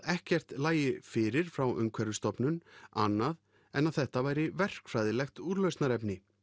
ekkert lá fyrir frá Umhverfisstofnun annað en að þetta væri verkfræðilegt úrlausnarefni